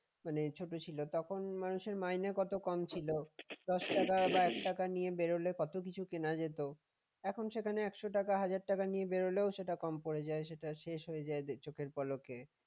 মানে ছোট ছিল তখন মানুষের মাইনে কত কম ছিল দশ টাকা বা এক টাকা নিয়ে বের হলে কত কিছু কেনা যেত এখন সেখানে একশ টাকা বা হাজার টাকা নিয়ে বের হলেও সেটা কম পড়ে যায় সেটা শেষ হয়ে যায় চোখের পলকে